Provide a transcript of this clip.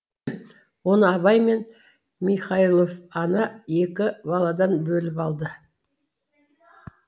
оны абай мен михайлов ана екі баладан бөліп алды